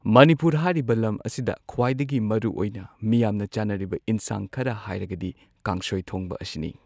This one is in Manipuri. ꯃꯅꯤꯄꯨꯔ ꯍꯥꯏꯔꯤꯕ ꯂꯝ ꯑꯁꯤꯗ ꯈ꯭ꯋꯥꯏꯗꯒꯤ ꯃꯔꯨꯑꯣꯏꯅ ꯃꯤꯌꯥꯝꯅ ꯆꯥꯅꯔꯤꯕ ꯍꯦꯟꯁꯥꯡ ꯈꯔ ꯍꯥꯏꯔꯒꯗꯤ ꯀꯥꯡꯁꯣꯏ ꯊꯣꯡꯕ ꯑꯁꯤꯅꯤ꯫